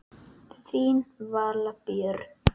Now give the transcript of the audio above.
Þín Vala Björg.